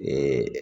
Ni